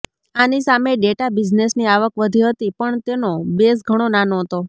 આની સામે ડેટા બિઝનેસની આવક વધી હતી પણ તેનો બેઝ ઘણો નાનો હતો